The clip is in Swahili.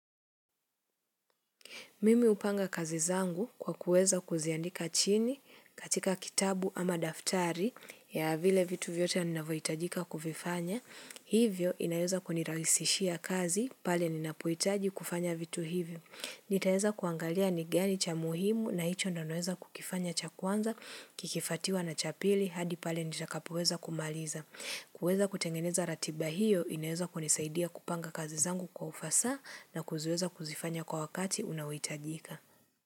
Mimi hupanga kazi zangu kwa kuweza kuziandika chini katika kitabu ama daftari ya vile vitu vyote ninavyohitajika kuvifanya. Hivyo inaweza kunirahisishia kazi, pale ninapohitaji kufanya vitu hivyo. Nitaweza kuangalia ni gani cha muhimu na hicho ndo naweza kukifanya cha kwanza, kikifuatiwa na cha pili, hadi pale nitakapoweza kumaliza. Kuweza kutengeneza ratiba hiyo inaeza kunisaidia kupanga kazi zangu kwa ufasa na kuziweza kuzifanya kwa wakati unaohitajika.